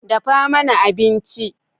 Dafa mana abinci.